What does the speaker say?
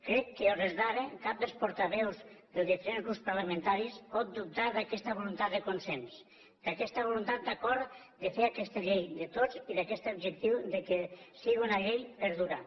crec que a hores d’ara cap dels portaveus dels diferents grups parlamentaris pot dubtar d’aquesta voluntat de consens d’aquesta voluntat d’acord de fer aquesta llei de tots i d’aquest objectiu que siga una llei per durar